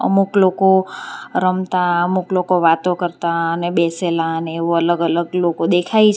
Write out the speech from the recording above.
મુક લોકો રમતા અમુક લોકો વાતો કરતા ને બેસેલા અને એવું અલગ અલગ લોકો દેખાય છે.